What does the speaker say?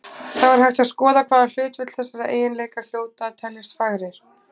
Þá er hægt að skoða hvaða hlutföll þessara eiginleika hljóta að teljast fagrir.